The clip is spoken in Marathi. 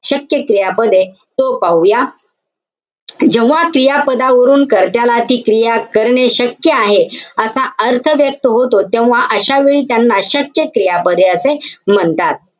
शक्य क्रियापदे. तो पाहूया. जेव्हा क्रियापदावरून कर्त्याला ती क्रिया करणे शक्य आहे. असा अर्थ व्यक्त होतो. तेव्हा अशावेळी त्यांना शक्य क्रियापदे असे म्हणतात.